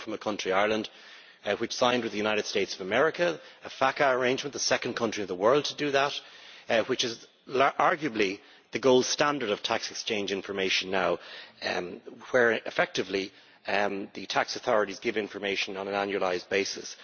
I come from a country, Ireland, which signed with the United States of America a FATCA arrangement, the second country in the world to do that, which is arguably the gold standard of tax exchange information now, where effectively the tax authorities give information on an annualised basis.